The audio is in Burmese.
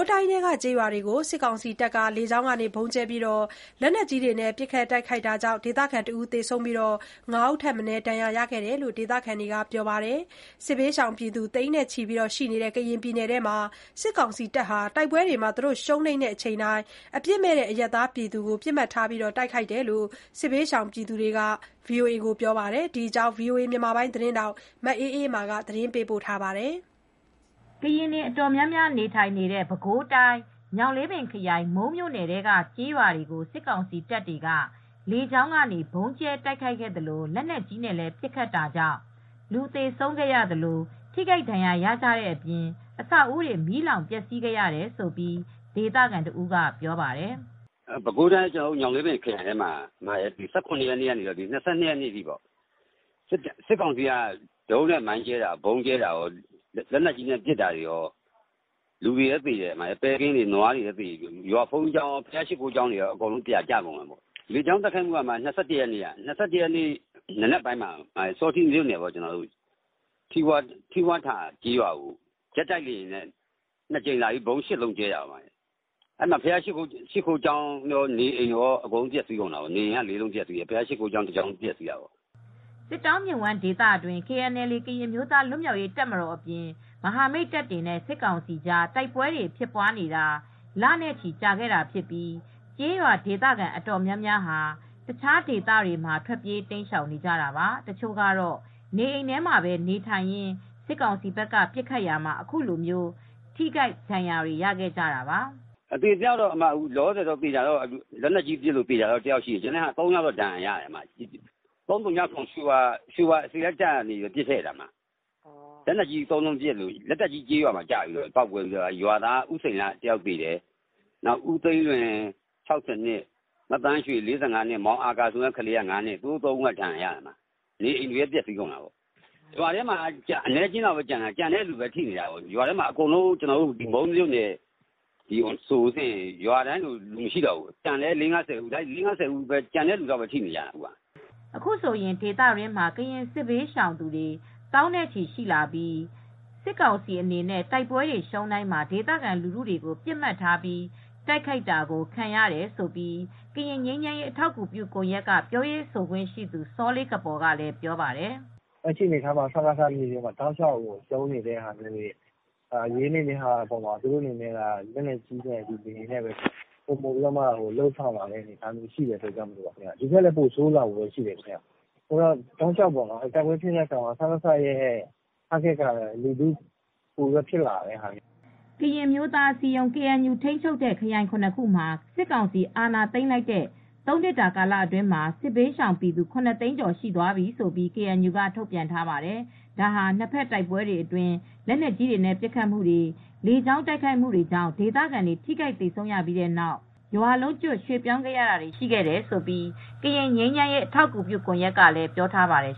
းတိုင်းထဲက ကျေးရွာတွေကို စစ်ကောင်စီတပ်က လေကြောင်းကနေ ဗုံးကျဲ ၊ လက်နက်ကြီးများတွေနဲ့ ပစ်ခတ် တိုက်ခိုက်တာကြောင့် ဒေသခံတဦး သေဆုံးပြီး ၅ဦးထက်မနည်း ဒဏ်ရာတွေရခဲ့ကြောင်း ဒေသခံတွေက ပြောပါတယ်။ စစ်ဘေးရှောင် သိန်းနဲ့ချီ ရှိနေတဲ့ ကရင်ပြည်နယ်မှာ စစ်ကောင်စီတပ်ဟာ တိုက်ပွဲတွေ ရှုံးနိမ့်တိုင်း အပြစ်မဲ့ အရပ်သားတွေကို ပစ်မှတ်ထားတိုက်ခိုက်လာတယ်လို့ စစ်ဘေးရှောင် ကူညီသူတွေက ပြောပါတယ်။ ဒီအကြောင်း ဗွီအိုအေ သတင်းထောက် မအေးအေးမာက တင်ပြပေးထားပါတယ်။ ကရင်တိုင်းရင်းသားတွေ တော်တော်များများနေထိုင်တဲ့ ပဲခူးတိုင်း၊ ညောင်လေးပင်ခရိုင်၊ မုန်းမြို့နယ်ထဲက ကျေးရွာတွေကို စစ်ကောင်စီတပ်တွေက လေကြောင်းကနေ ဗုံးကြဲတိုက်ခိုက်သလို လက်နက်ကြီးနဲ့လည်း ပစ်ခတ်တာကြောင့် လူသေဆုံးခဲ့သလို ထိခိုက်ဒဏ်ရာရကြတဲ့အပြင်၊ အဆောက်အဦးတွေ မီးလောင်ပျက်စီးခဲ့တယ်လို့ ဒေသခံတဦးကပြောပါတယ်။ “ပဲခူးတိုင်း၊ ညောင်လေးပင်ခရိုင်ထဲမှာ ၁၇ ရက်နေ့ကနေ ၂၂ ရက်နေ့ အထိ စစ်ကောင်စီက ဒရုန်းနဲ့ဗုံးကြဲတာက လက်နက်ကြီးတွေနဲ့လည်း ပစ်တော့ လူတွေလည်းသေတယ်၊ နွားတွေလည်းသေတယ်၊ ဘုရားရှစ်ခိုးကျောင်းတွေလည်းပြာကျကုန်တယ်။ လေကြောင်းတိုက်ခိုက်မှုက ၂၁ရက်နေ့က မနက်ပိုင်းစောထိမြို့နယ် ထီဝါးထာကျေးရွာကို ဂျက်တိုက်လေယာဉ်နဲ့ ၂ကြိမ်လာပြီး ဗုံး ၈လုံးကြဲတာပေါ့ အဲဒီမှာ ဘုရားရှစ်ခိုးကျောင်းနဲ့ နေအိမ်ကောပျက်စီးတယ်၊ နေအိမ်က ၄လုံးပျက်စီးတယ်၊ ဘုရားရှစ်ခိုးကျောင်းက တကျောင်းပျက်စီးတယ်။” စစ်တောင်းမြစ်ဝှမ်းဒေသတွင်း KNLA ကရင်အမျိုးသား လွတ်မြောက်ရေးတပ်မတော်အပြင် မဟာမိတ်တပ်တွေနဲ့ စစ်ကောင်တပ်ဖွဲ့တွေအကြား တိုက်ပွဲတွေဖြစ်ပွားနေတာ လနဲ့ချီကြာခဲ့ပြီဖြစ်ပြီး ကျေးရွာ ဒေသခံ အတော်အများများဟာ တခြားဒေသတွေမှာ ထွက်ပြေး တိမ်းရှောင်နေကြတာပါ။ တချို့ကတော့ စစ်ကောင်စီဘက်က ပစ်ခတ်တဲ့ကျည်ထိမှန်ပြီး နေအိမ်ထဲမှာတင် သေဆုံးခဲ့ကြရတယ်လို့ ဆိုပါတယ်။ “အသေအပျောက်တော့ လက်နက်ကြီးပစ်လို့ တယောက်သေတယ်။ ကျန်တာ ၃ယောက် ဒဏ်ရာရတယ်။ ၃၀၇ ရွေဝါတပ်က ပစ်လိုက်တာ လက်နက်ကြီးကျလို့ တယောက်သေတယ်။ ရွာသားက ဦးစိန်လှတယောက် သေတယ်။ ဦးသိန်းလွင် (၆၀)နှစ်၊ မသန်းရွှေ (၄၅)နှစ်နဲ့ မောင်အာကာ ဆိုတဲ့ ကလေးက ၅နှစ်၊ အဲဒါတွေကဒဏ်ရာရတယ်။ အဲဒီမှာ ရွာထဲမှာ လူသိပ်မကျန်တော့ဘူး။ ကျန်တဲ့သူတွေပဲထိတယ် အခုက မုန်းမြို့နယ်ထဲက ရွာတန်းရှည် တခုလုံး လူကသိပ်မကျန်တော့ဘူး။ ကျန်တာ လေးငါးဆယ်ယောက်ပဲ ကျန်တယ်။ အဲဒီကျန်တဲ့သူတွေ ထိကြတယ်” အခုဆိုရင်ဒေသတွင်းမှာ ကရင်စစ်ဘေးရှောင်သူ သောင်းနဲ့ချီရှိလာပြီး စစ်ကောင်စီအနေနဲ့ တိုက်ပွဲတွေ ရှုံးတိုင်းမှာ ဒေသခံလူထုက ပစ်မှတ်ဖြစ်လာပြီး တိုက်ခိုက်ခံရတယ်လို့လည်း ကရင်ငြိမ်းချမ်းရေးအထောက်အကူပြုကွန်ယက်က ပြောရေးဆိုခွင့်ရှိသူ စောလေးကပေါ် က ပြောပါတယ်။ “လက်ရှိအနေအထားမှာ စစ်ကောင်စီက မြေပြင်မှာ တောက်လျှောက်ရှုံးနေတယ်၊ အရေးနှိမ့်နေတာမျိုး ဖြစ်နေတော့ လက်နက်ကြီးတွေနဲ့ ပစ်တာ၊ လေယာဉ်နဲ့ပဲလုပ်တာတွေက ဖြစ်လာတယ်။ ဒီထက်လည်း ပိုဆိုးလာနိုင်တယ်။ တိုက်ပွဲဖြစ်တိုင်း စကစရဲ့ ပစ်မှတ်က လူထု ဖြစ်လာတယ်” ကရင်အမျိုးသားအစည်းအရုံး-ကေအဲန်ယူ ထိန်းချုပ်တဲ့ ခရိုင် ၇ ခုမှာ စစ်ကောင်စီအာဏာသိမ်းထားတဲ့ ၃နှစ်တာကာလအတွင်းမှာ စစ်ဘေးရှောင်ပြည်သူ ၇သိန်းကျော်သွားပြီလို့ ကေအန်ယူက ထုတ်ပြန်ထားပါတယ်။ ဒါဟာ နှစ်ဖက်တိုက်ပွဲတွေအတွင်း လက်နက်ကြီးတွေနဲ့ ပစ်ခတ်မူတွေ၊ လေကြောင်းတိုက်ခိုက်မှုတွေကြောင့် ဒေသခံတွေ ထိခိုက်သေဆုံးရတဲ့အပြင် ရွာလုံးကျွတ် ရွှေ့ပြောင်းခဲ့ရတာတွေ ရှိခဲ့တယ်လို့ ကရင်ငြိမ်းချမ်းရေးအထောက်ကူပြုကွန်ယက်က ပြောထားပါတယ်